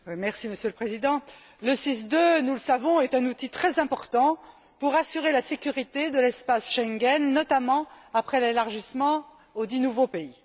Monsieur le Président, le SIS II, nous le savons, est un outil très important pour assurer la sécurité de l'espace Schengen, notamment après l'élargissement aux dix nouveaux pays.